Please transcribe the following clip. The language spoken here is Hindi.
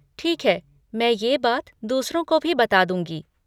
ठीक है, मैं ये बात दूसरों को भी बता दूँगी।